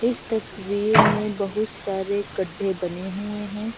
इस तस्वीर में बहुत सारे गढ्ढे बने हुए हैं।